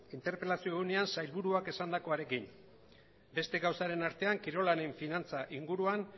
interpelazio egunean sailburuak esandakoarekin beste gauzaren artean kirolaren finantza inguruan